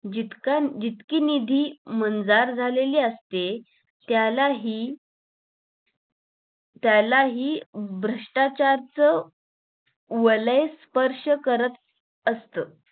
जितका जितकी निधी मंजार झालेली असते त्याला हि त्याला हि भ्रष्ट्राचारच वलय स्पर्श करत असतं